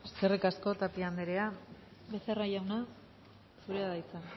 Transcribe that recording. eskerrik asko tapia anderea becerra jauna zurea da hitza